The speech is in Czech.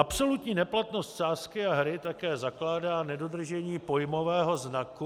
Absolutní neplatnost sázky a hry také zakládá nedodržení pojmového znaku...